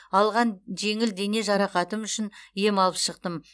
алған жеңіл дене жарақатым үшін ем алып шықтым